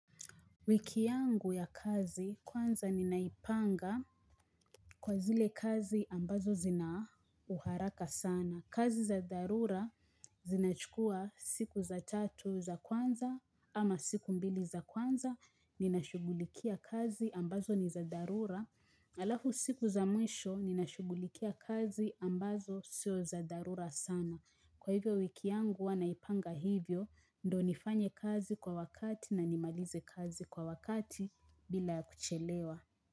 Wiki yangu ya kazi kwanza ninaipanga kwa zile kazi ambazo zina uharaka sana. Kazi za dharura zinachukua siku za tatu za kwanza ama siku mbili za kwanza. Ninashughulikia kazi ambazo ni za dharura. Alafu siku za mwisho ninashughulikia kazi ambazo sio za dharura sana. Kwa hivyo wiki yangu huwa naipanga hivyo ndo nifanye kazi kwa wakati na nimalize kazi kwa wakati bila ya kuchelewa.